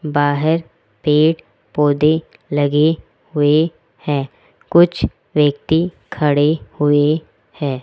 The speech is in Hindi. बाहर पेड़ पौधे लगे हुए हैं कुछ व्यक्ति खड़े हुए हैं।